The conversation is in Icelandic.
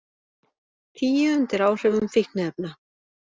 Tíu undir áhrifum fíkniefna